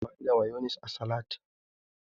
Ana amfani da mayonis a salad.